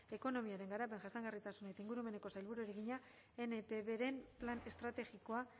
ekonomiaren garapen jasangarritasun eta ingurumeneko sailburuari egina npbren plan estrategikoa